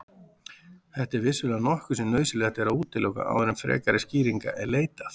Þetta er vissulega nokkuð sem nauðsynlegt er að útiloka áður en frekari skýringa er leitað.